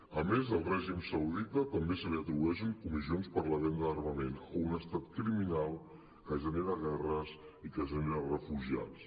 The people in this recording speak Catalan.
a més del règim saudita també se li atribueixen comissions per la venda d’armament a un estat criminal que genera guerres i que genera refugiats